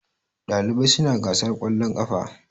ɗalibai suna gasar ƙwallon kafa